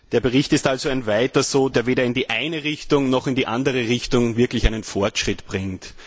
Der Bericht ist also ein Weiter so, der weder in die eine Richtung noch in die andere Richtung wirklich einen Fortschritt bringt.